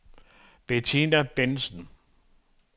Bettina Bendtsen